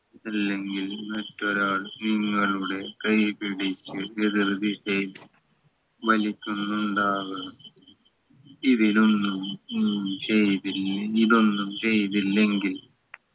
അല്ലെങ്കിൽ മറ്റൊരാൾ നിങ്ങളുടെ കൈ പിടിച്ചു വലിക്കുന്നുണ്ടാവണം ഇതിനൊന്നും ഒന്നും ചെയ്തില്ലേ ഇതൊന്നും ചെയ്തില്ലെങ്കിൽ